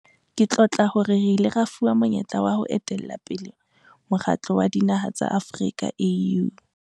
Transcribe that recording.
Ke tlotla hore re ile ra fuwa monyetla wa ho etella pele Mokgatlo wa Dinaha tsa Afrika, AU.